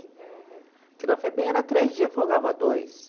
Porque na FEBEM era três dias, eu folgava dois.